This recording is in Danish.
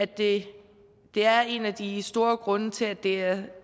det er en af de store grunde til at det